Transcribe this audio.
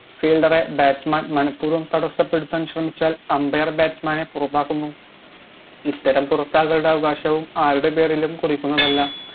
fielder റെ batsman മനപ്പൂർവ്വം തടസ്സപ്പെടുത്താൻ ശ്രമിച്ചാൽ ambier batsman നെ പുറത്താക്കുന്നു ഇത്തരം പുറത്താക്കലിൻറെ അവകാശവും ആരുടെ പേരിലും കുറിക്കുന്നതല്ല